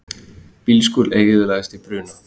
Bílskúr eyðilagðist í bruna